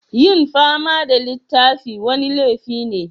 Yin fama da littafin wani laifi ne?